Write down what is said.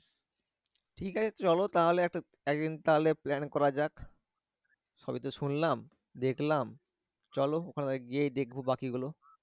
ঠিক আছে চলো তাহলে একদিন তাহলে plan করা যাক সবি তো শুনলাম দেখলাম চলো ওখানে গিয়ে দেখবো বাকি গুলো